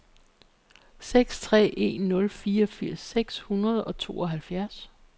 seks tre en nul treogfirs seks hundrede og tooghalvfjerds